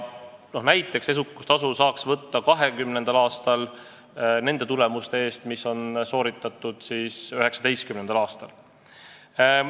Näiteks saaks 2020. aastal edukustasu võtta nende tulemuste eest, mis on saavutatud 2019. aastal.